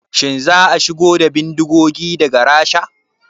Shin za a shigo da bindigogin daga Rasha?